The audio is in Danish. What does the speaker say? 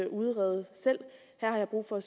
udrede selv her har jeg brug for at